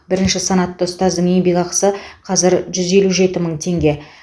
бірінші санатты ұстаздың еңбекақысы қазір жүз елу жеті мың теңге